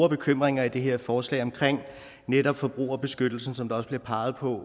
bekymrende i det her forslag om netop forbrugerbeskyttelse som der også bliver peget på